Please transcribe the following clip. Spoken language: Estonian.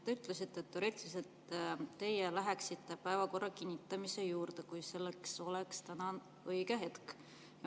Te ütlesite, et te teoreetiliselt läheksite päevakorra kinnitamise juurde, kui selleks oleks täna õige hetk.